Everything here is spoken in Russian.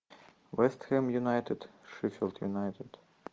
вест хэм юнайтед шеффилд юнайтед